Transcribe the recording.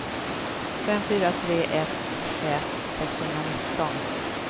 fem fyra tre ett tjugoett sexhundranitton